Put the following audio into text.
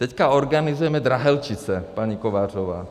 Teďka organizujeme Drahelčice, paní Kovářová.